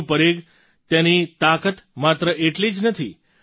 ડ્રૉનનું પરીઘ તેની તાકાત માત્ર આટલી જ નથી